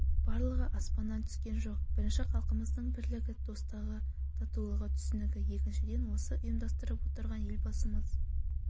барлығы аспаннан түскен жоқ бірінші халқымыздың бірлігі достығы татулығы түсіністігі екіншіден осыны ұйымдастырып отырған елбасымыз